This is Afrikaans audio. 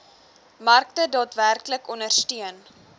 markte daadwerklik ondersteun